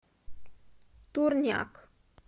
турняк